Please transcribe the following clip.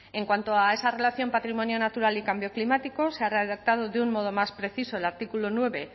en cuanto a esa relación patrimonio natural y cambio climático se ha redactado de un modo más preciso el artículo nueve